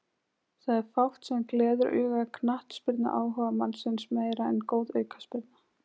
Það er fátt sem gleður auga knattspyrnuáhugamannsins meira en góð aukaspyrna.